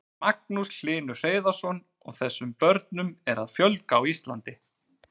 Magnús Hlynur Hreiðarsson: Og þessum börnum er að fjölga á Íslandi?